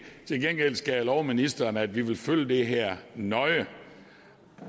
til gengæld skal jeg love ministeren at vi vil følge det her nøje